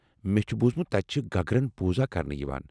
مےٚ چھ بوزمُت تتہِ چھےٚ گگرن پوٗزا کرنہٕ یوان ۔